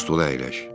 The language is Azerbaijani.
Bu stula əyləş.